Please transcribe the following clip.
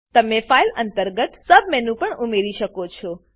તમે file file અંતર્ગત submenu submenu પણ ઉમેરી શકો છો